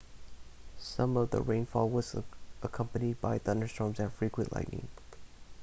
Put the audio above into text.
some of the rainfall was accompanied by thunderstorms and frequent lightning